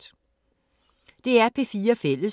DR P4 Fælles